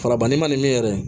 Farabali man di min yɛrɛ ye